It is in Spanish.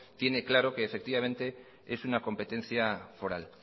tiene claro que efectivamente es una competencia foral